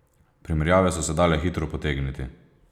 Primerjave so se dale hitro potegniti.